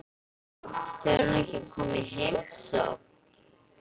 Fer hún ekki að koma í heimsókn?